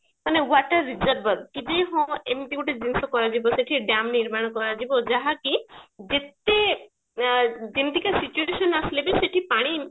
ମାନେ water reserve କି ଯେ ହଁ ଏମତି ଗୋଟେ ଜିନିଷ କରେଇଦେବେ ସେଠି ଡ୍ୟାମ ନିର୍ମାଣ କରାଯିବ ଯାହାକି ଯେତେ ଏ ଯେମତିକା situation ଆସିଲେ ବି ସେଠି ପାଣି